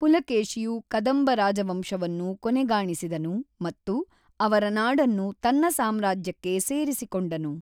ಪುಲಕೇಶಿಯು ಕದಂಬ ರಾಜವಂಶವನ್ನು ಕೊನೆಗಾಣಿಸಿದನು ಮತ್ತು ಅವರ ನಾಡನ್ನು ತನ್ನ ಸಾಮ್ರಾಜ್ಯಕ್ಕೆ ಸೇರಿಸಿಕೊಂಡನು.